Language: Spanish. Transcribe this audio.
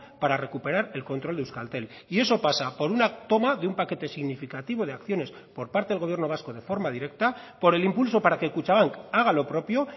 para recuperar el control de euskaltel y eso pasa por una toma de un paquete significativo de acciones por parte del gobierno vasco de forma directa por el impulso para que kutxabank haga lo propio